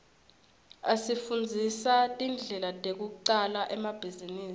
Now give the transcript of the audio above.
asifundzisa tindlela tekucala emabhizinisi